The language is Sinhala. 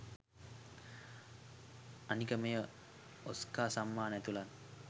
අනික මෙය ඔස්කාර් සම්මාන ඇතුළු